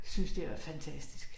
Synes det er fantastisk